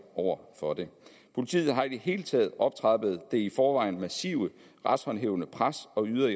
over for det politiet har i det hele taget optrappet det i forvejen massive retshåndhævende pres og yder